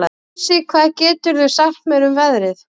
Kusi, hvað geturðu sagt mér um veðrið?